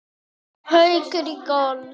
Ég spyr af hverju?